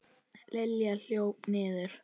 Lilla hljóp niður.